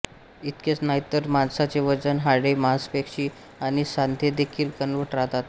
इतकेच नाही तर माणसाचे वजन हाडे मांसपेशी आणि सांधेदेखील दणकट राहातात